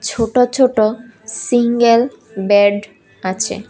ছোট ছোট single bed আছে।